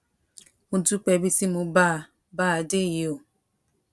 mo dúpẹ ibi tí mo bá a bá a dé yìí o